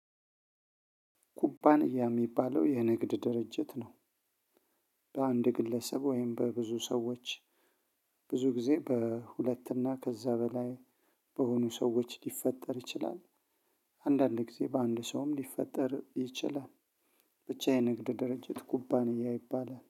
ኩባንያ የሚባለው የንግድ ድርጅት ነው። በአንድ ግለሰብ ወይም በብዙ ሰዎች ብዙ ጊዜ በሁለትና ከዛ በላይ በሆኑ ሰዎች ሊፈጠር ይችላል። አንዳንድ ጊዜ በአንድ ሰውም ሊፈጠር ይችላል። ብቻ የንግድ ድርጅት ኩባንያ ይባላል